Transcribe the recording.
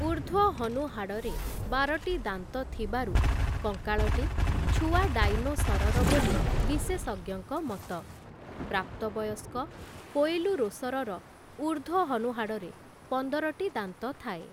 ଊର୍ଦ୍ଧ୍ୱ ହନୁହାଡ଼ରେ ବାରଟି ଦାନ୍ତ ଥିବାରୁ କଙ୍କାଳଟି ଛୁଆ ଡାଇନୋସରର ବୋଲି ବିଶେଷଜ୍ଞଙ୍କ ମତ । ପ୍ରାପ୍ତବୟସ୍କ କୋଏଲୁରୋସରର ଊର୍ଦ୍ଧ୍ୱ ହନୁହାଡ଼ରେ ପନ୍ଦରଟି ଦାନ୍ତ ଥାଏ ।